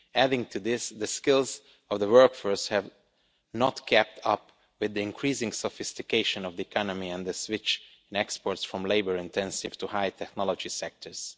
Adding to this, the skills of the workforce have not kept up with the increasing sophistication of the economy and the switch in exports from labour intensive to high technology sectors.